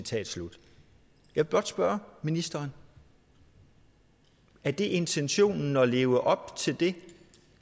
jeg vil blot spørge ministeren er det intentionen at leve op til det